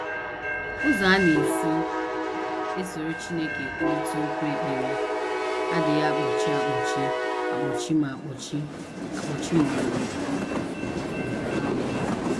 Ụzọ a a na - esi esoro Chineke ekwurịta okwu ekpere adịghị akpọchi akpọchi ma akpọchi akpọchi ma ọlị um.